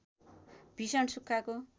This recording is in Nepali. भिषण सुख्खाको